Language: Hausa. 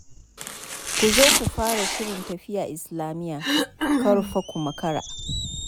Ku zo ku fara shirin tafiya Islamiyya, kar fa ku makara.